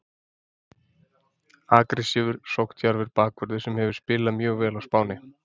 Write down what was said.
Aggressívur, sókndjarfur bakvörður sem hefur spilað mjög vel á Spáni,